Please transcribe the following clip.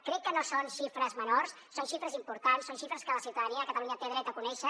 crec que no són xifres menors són xifres importants són xifres que la ciutadania de catalunya té dret a conèixer